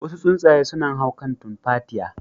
Wasu tsuntsaye sunan hau kan tumfatiya.